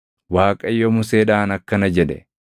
Waaqayyo Museedhaan akkana jedhe;